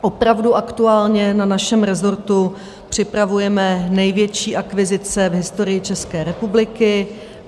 Opravdu aktuálně na našem rezortu připravujeme největší akvizice v historii České republiky.